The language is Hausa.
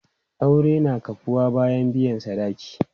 Aure na kafuwa bayan biyan sadaki.